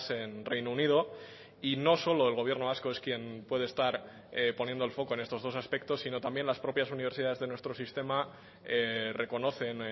en reino unido y no solo el gobierno vasco es quien puede estar poniendo el foco en estos dos aspectos sino también las propias universidades de nuestro sistema reconocen